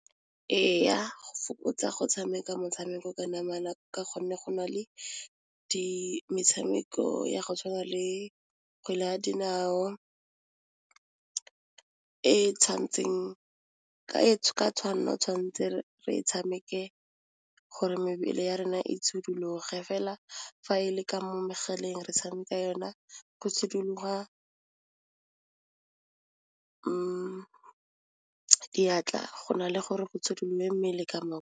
Ee ya go fokotsa go tshameka motshameko ka namana ka gonne go na le metshameko ya go tshwana le kgwele ya dinao e tshwanetseng ka tshwanelo o tshwanetse re e tshameke gore mebele ya rena e fela fa e le ka mo megaleng re tshameka yona go tshidiloga diatla go na le gore go itshidile mmele ka.